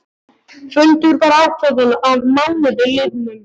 Fundur var ákveðinn að mánuði liðnum.